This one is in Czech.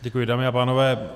Děkuji, dámy a pánové.